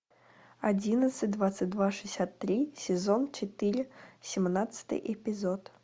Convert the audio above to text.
одиннадцать двадцать два шестьдесят три сезон четыре семнадцатый эпизод